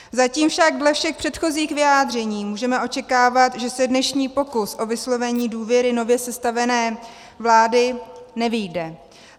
Zatím však dle všech předchozích vyjádření můžeme očekávat, že se dnešní pokus o vyslovení důvěry nově sestavené vládě nevyjde.